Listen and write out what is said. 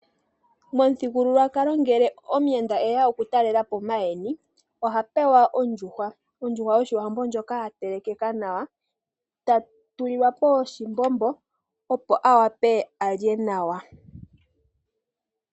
Momuthigululwakalo ngele omuyenda eya okutalelapo maayeni oha pewa ondjuhwa yoshiwambo ndjoka ya telekeka nawa ,ta tulilwapo oshimbombo opo a wape alye nawa